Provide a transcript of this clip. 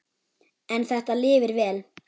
En þetta lifir vel.